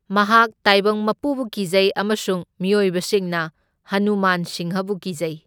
ꯃꯍꯥꯛ ꯇꯥꯏꯕꯪ ꯃꯄꯨꯕꯨ ꯀꯤꯖꯩ ꯑꯃꯁꯨꯡ ꯃꯤꯑꯣꯏꯕꯁꯤꯡꯅ ꯍꯅꯨꯃꯥꯟ ꯁꯤꯡꯍꯕꯨ ꯀꯤꯖꯩ꯫